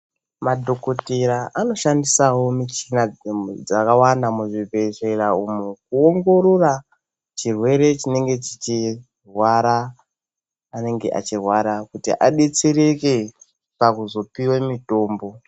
Madhokotera anoshandisawo michina dzakawanda muzvibhehlera umo kuongorora chirwere chinenge chichirwara anenge achirwara kuti adetsereke pakuzopiwe mitombo.